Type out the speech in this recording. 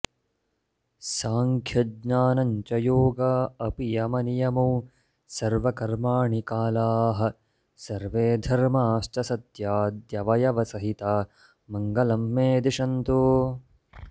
साङ्ख्यज्ञानञ्च योगा अपि यमनियमौ सर्वकर्माणि कालाः सर्वे धर्माश्च सत्याद्यवयवसहिता मङ्गलं मे दिशन्तु